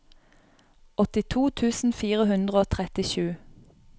åttito tusen fire hundre og trettisju